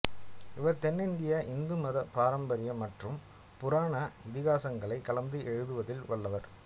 இவர் தென்னிந்திய இந்துமத பாரம்பரியம் மற்றும் புராண இதிகாசங்களைக் கலந்து எழுதுவதில் வல்லவர்